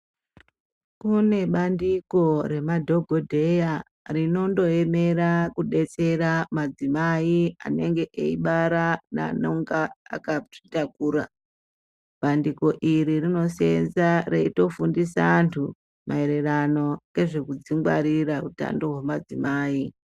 Kune bandiko remadhagodheya rinondoemera kudetsera madzimai anenge eibara neanonga akazvitakura. Bandiko iri rinoseenza reitofundisa antu maererano ngezvekudzingwarira utano hwemadzimai.